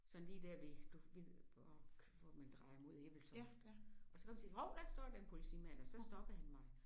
Sådan lige der ved du ved der hvor hvor man drejer mod Ebeltoft og så kom jeg til at se hov der står da en politimand og så stoppede han mig